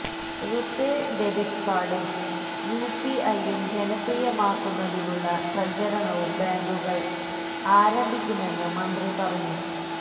RuPay debit കാർഡും യുപിഐയും ജനപ്രിയമാക്കുന്നതിനുള്ള പ്രചാരണവും ബാങ്കുകൾ ആരംഭിക്കുമെന്ന് മന്ത്രി പറഞ്ഞു